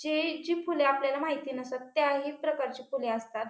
जी जी फुले आपल्याला माहिती नसतात त्याही प्रकारची फुले असतात.